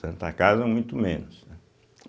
Santa Casa, muito menos, né.